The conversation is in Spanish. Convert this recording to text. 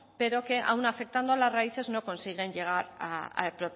pero que aun afectando a las raíces no consiguen llegar